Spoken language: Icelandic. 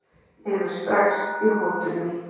Hefur strax í hótunum.